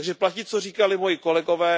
Takže platí, co říkali moji kolegové.